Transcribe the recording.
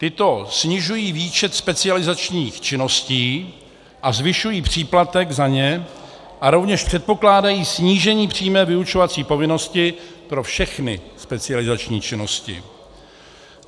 Ty snižují výčet specializačních činností a zvyšují příplatek za ně a rovněž předpokládají snížení přímé vyučovací povinnosti pro všechny specializační činnosti.